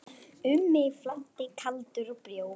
Um mig flæddi kaldur bjór.